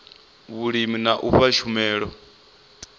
vhulimi na u fha tshumelo